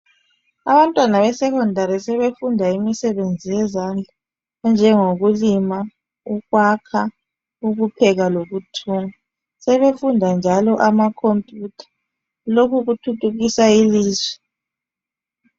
Abantwana besecondary sebefunda imisebenzi yezandla njengokulima ukuyakha ukupheka lokuthunga sebefunda njalo amacomputer lokhuthuthukisa ilizwe